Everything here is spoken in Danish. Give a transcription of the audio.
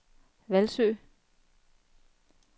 Hvalsø